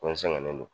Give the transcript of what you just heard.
Ko n sɛgɛnnen don